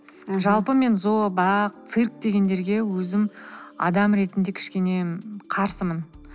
жалпы мен зообақ цирк дегендерге өзім адам ретінде кішкене қарсымын